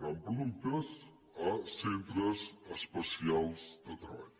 comprant productes a cen·tres especials de treball